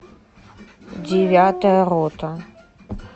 девятая рота